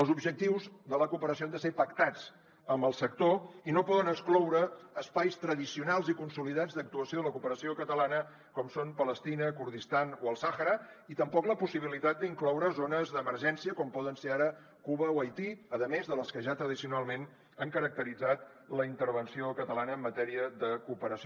els objectius de la cooperació han de ser pactats amb el sector i no poden excloure espais tradicionals i consolidats d’actuació de la cooperació catalana com són palestina kurdistan o el sàhara i tampoc la possibilitat d’incloure zones d’emergència com poden ser ara cuba o haití a més de les que ja tradicionalment han caracteritzat la intervenció catalana en matèria de cooperació